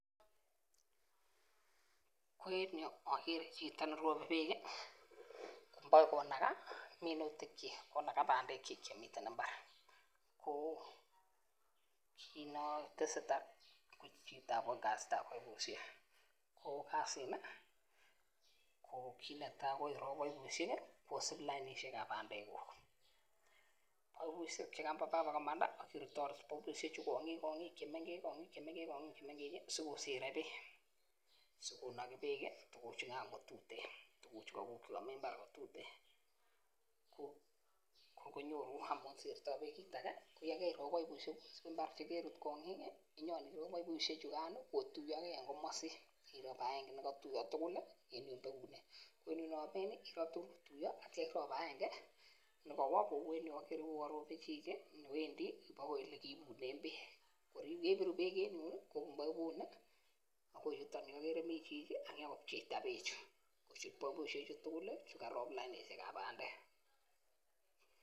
Ko en yu agere chito nerobe beek ih sikonaga minutik chik chemiten imbar,, kit netesetai en bandek kyik chemiten imbar. Ko kinetesetai ko kasitab boibusiek ko kasit ni ko kit netai ko irob baibusiek kosib lainisiekab bandek ko yekakomanda akirutarut boibusiek chu kong'ik chemengech sikokere bek sikonagi bek ih tukuk chugan chukaguk chetuten ko konyoru . Akirop baibusiek chugan kotuyage en komasin irob aenge koneinamen ih irob aenge nekawo neuwan robe chito baka ilek